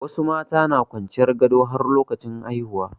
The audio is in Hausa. Wasu mata na kwanciyan gado har lokacin haihuwa.